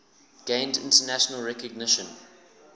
gained international recognition